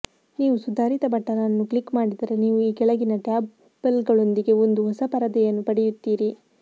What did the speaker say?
ನೀವು ಸುಧಾರಿತ ಬಟನ್ ಅನ್ನು ಕ್ಲಿಕ್ ಮಾಡಿದರೆ ನೀವು ಈ ಕೆಳಗಿನ ಟ್ಯಾಬ್ಗಳೊಂದಿಗೆ ಒಂದು ಹೊಸ ಪರದೆಯನ್ನು ಪಡೆಯುತ್ತೀರಿ